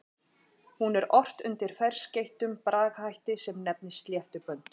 Hún er ort undir ferskeyttum bragarhætti sem nefnist sléttubönd.